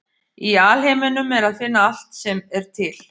Í alheiminum er að finna allt sem er til.